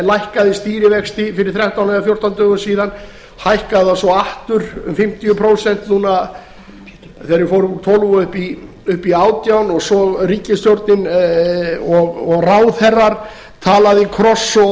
lækkaði stýrivexti fyrir þrettán eða fjórtán dögum síðan hækkaði þá svo aftur um fimmtíu prósent núna þegar við fórum úr tólf og upp í átján prósent og svo hafa ríkisstjórnin og ráðherrar talað í